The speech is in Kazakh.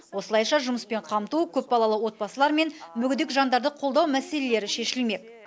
осылайша жұмыспен қамту көпбалалы отбасылар мен мүгедек жандарды қолдау мәселелері шешілмек